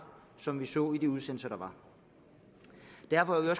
som vi så i de udsendelser derfor er